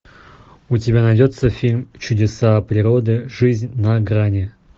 у тебя найдется фильм чудеса природы жизнь на грани